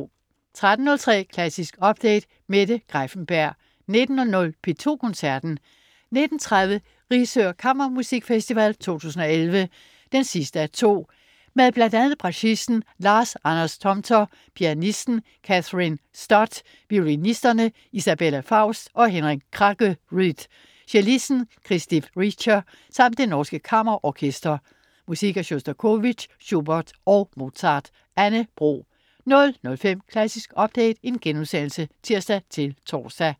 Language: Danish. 13.03 Klassisk update. Mette Greiffenberg 19.00 P2 Koncerten. 19.30 Risør Kammermusikfest 2011, 2:2. Med bl.a. bratschisten Lars Anders Tomter, pianisten Kathryn Stott, violinisterne Isabelle Faust og Henning Kraggerud, cellisten Christiph Richter samt Det norske kammerorkester. Musik af Sjostakovitj, Schubert og Mozart. Anne Bro 00.05 Klassisk update* (tirs-tors)